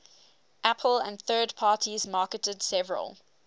apple and third parties marketed several